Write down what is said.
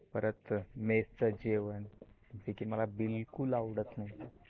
परत mess च जेवण जे की मला बिलकुल आवडत नाही.